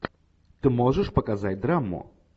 ты можешь показать драму